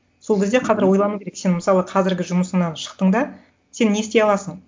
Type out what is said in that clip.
сол кезде қазір ойлану керек сен мысалы қазіргі жұмысыңнан шықтың да сен не істей аласың